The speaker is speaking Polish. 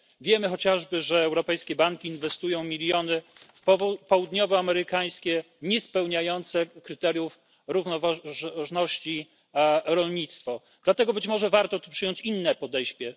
Wiemy chociażby, że europejskie banki inwestują miliony w południowoamerykańskie niespełniające kryteriów równoważności rolnictwo. Dlatego być może warto przyjąć inne podejście.